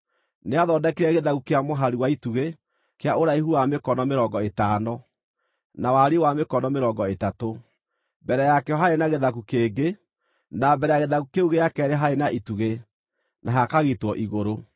Nĩathondekire gĩthaku kĩa mũhari wa itugĩ, kĩa ũraihu wa mĩkono mĩrongo ĩtano, na wariĩ wa mĩkono mĩrongo ĩtatũ. Mbere yakĩo haarĩ na gĩthaku kĩngĩ, na mbere ya gĩthaku kĩu gĩa keerĩ haarĩ na itugĩ, na hakagitwo igũrũ.